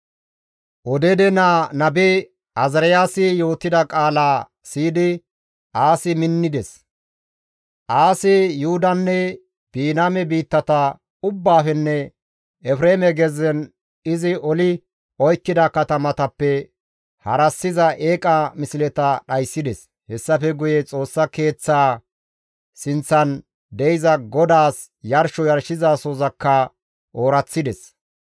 Odeede naa nabe Azaariyaasi yootida qaalaa siyidi Aasi minnides. Aasi Yuhudanne Biniyaame biittata ubbaafenne Efreeme gezzen izi oli oykkida katamatappe harassiza eeqa misleta dhayssides. Hessafe guye Xoossa keeththaa sinththan de7iza GODAAS yarsho yarshizasohozakka ooraththides.